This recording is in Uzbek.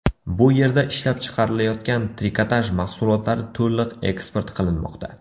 Bu yerda ishlab chiqarilayotgan trikotaj mahsulotlari to‘liq eksport qilinmoqda.